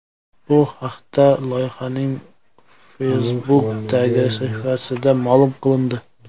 Bu haqda loyihaning Facebook’dagi sahifasida ma’lum qilindi.